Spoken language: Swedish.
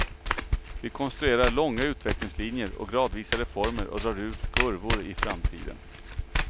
Vi konstruerar långa utvecklingslinjer och gradvisa reformer och drar ut kurvor i framtiden.